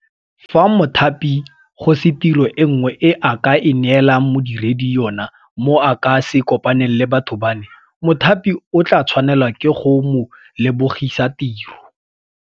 Fa mothapi go se tiro e nngwe e a ka e neelang modiredi yono mo a ka se kopaneng le batho bano, mothapi o tla tshwanelwa ke go mo lebogisa tiro.